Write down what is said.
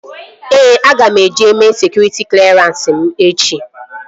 Ee, aga m eje mee sekụritị klerans m echi